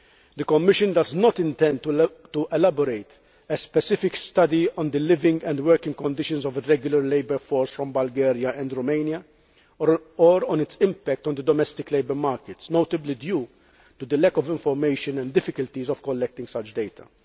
The Commission does not intend to elaborate a specific study on the living and working conditions of the irregular labour force from Bulgaria and Romania or on its impact on the domestic labour markets, notably due to the lack of information and difficulties of collecting such data.